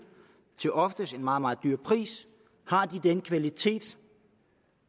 ofte til en meget meget høj pris den kvalitet